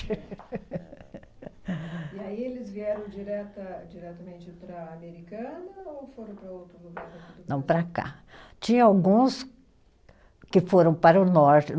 E aí eles vieram direta diretamente para Americana ou foram para outro lugar? Não, para cá. Tinha alguns que foram para o norte